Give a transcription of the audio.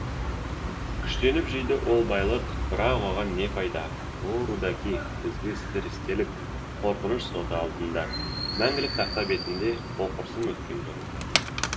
күштеніп жиды ол байлық бірақ оған не пайда о рудаки ізгі істер істелік қорқыныш соты алдында мәңгілік тақта бетінде оқырсың өткен жолыңды